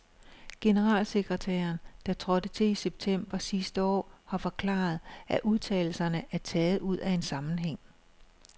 Generalsekretæren, der trådte til i september sidste år, har forklaret, at udtalelserne er taget ud af en sammenhæng.